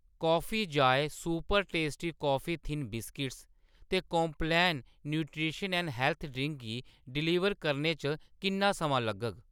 Coffee Joy super tasty coffee thins biscuits ते Complan nutrition and health drink गी deliver करने च किन्ना समां लग्गग ?